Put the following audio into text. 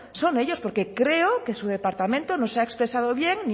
son ellos porque creo que su departamento no se ha expresado bien